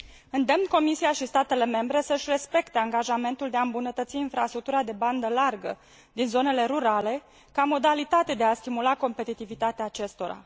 Îndemn Comisia și statele membre să își respecte angajamentul de a îmbunătăți infrastructura de bandă largă din zonele rurale, ca modalitate de a stimula competitivitatea acestora.